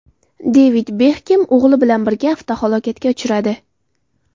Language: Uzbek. Devid Bekhem o‘g‘li bilan birga avtohalokatga uchradi.